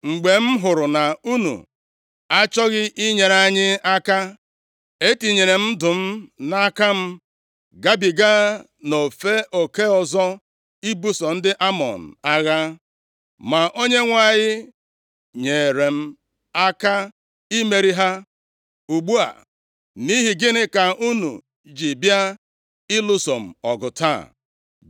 Mgbe m hụrụ na unu achọghị inyere anyị aka, e tinyere m ndụ m nʼaka m, gabiga nʼofe nke ọzọ ibuso ndị Amọn agha. Ma Onyenwe anyị nyeere m aka imeri ha. Ugbu a, nʼihi gịnị ka unu ji bịa ịlụso m ọgụ taa?”